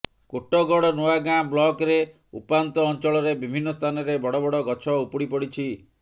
କୋଟଗଡ଼ ନୂଆଗାଁ ବ୍ଲକରେ ଉପାନ୍ତ ଅଞ୍ଚଳରେ ବିଭିନ୍ନ ସ୍ଥାନରେ ବଡ ବଡ ଗଛ ଉପୁଡିପଡିଛି